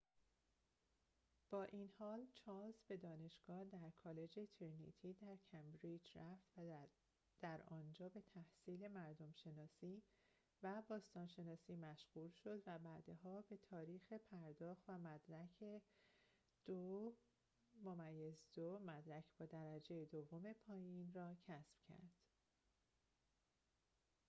با این حال، چارلز به دانشگاه در کالج ترینیتی در کمبریج رفت و در آنجا به تحصیل مردم‌شناسی و باستان‌شناسی مشغول شد، و بعدها به تاریخ پرداخت و مدرک 2:2 مدرک با درجه دوم پایین را کسب کرد